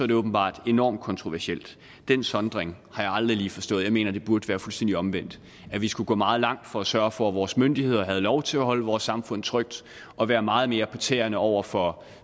det åbenbart enormt kontroversielt den sondring har jeg aldrig forstået jeg mener det burde være fuldstændig omvendt at vi skulle gå meget langt for at sørge for at vores myndigheder havde lov til at holde vores samfund trygt og være meget mere på tæerne over for